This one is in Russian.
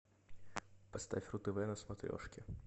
поставь ру тв на смотрешке